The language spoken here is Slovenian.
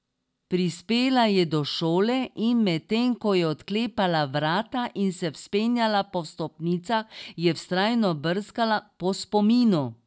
Prispela je do šole, in medtem ko je odklepala vrata in se vzpenjala po stopnicah, je vztrajno brskala po spominu.